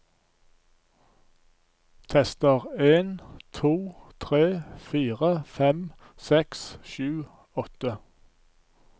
Tester en to tre fire fem seks sju åtte